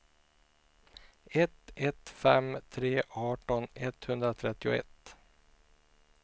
ett ett fem tre arton etthundratrettioett